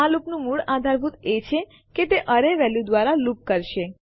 આ લૂપનું મૂળ આધારભૂત એ છે કે તે એરેની વેલ્યુ દ્વારા લૂપ કરશે